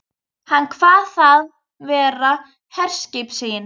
Hann kvað það vera herskip sín.